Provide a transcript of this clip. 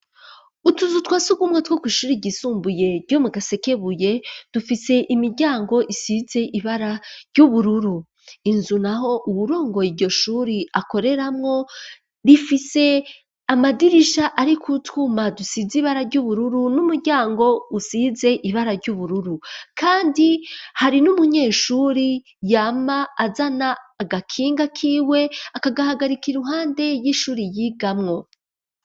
Ututuzu twasugumwe two kw'ishure ryisumbuye ryo mu gasekebuye ,dufise imiryango isize ibara ry'ubururu ,inzu naho uwurongoye iryo shuri akoreramwo, ifise amadirisha ariko twuma dusize ibara ry'ubururu ,n'umuryango usize ibara ry'ubururu ,kandi hari n'umunyeshuri yama azana agakinga kiwe, akagahagarika iruhande y'ishuri yigamwo.